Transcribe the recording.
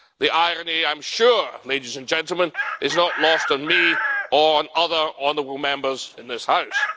The irony, I am sure, ladies and gentlemen, is not lost on me, or on other honourable Members in this House.